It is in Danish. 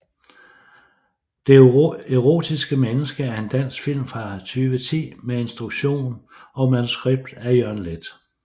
Det erotiske menneske er en dansk spillefilm fra 2010 med instruktion og manuskript af Jørgen Leth